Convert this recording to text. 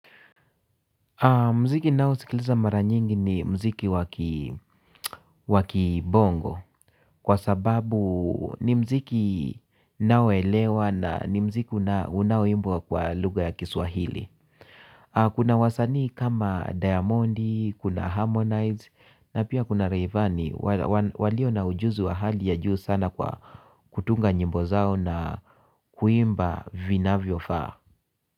Mziki naosikiliza mara nyingi ni mziki wa kibongo kwa sababu ni mziki naoelewa na ni mziki unaoimbwa kwa lugha ya kiswahili. Kuna wasanii kama Diamondi, kuna Harmonize na pia kuna Rayvani, walio na ujuzi wa hali ya juu sana kwa kutunga nyimbo zao na kuimba vinavyofaa.